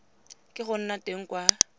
ke go nna teng kwa